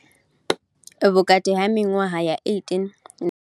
Vhukati ha miṅwaha ya 18 na.